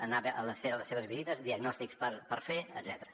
anar a fer les seves visites diagnòstics per fer etcètera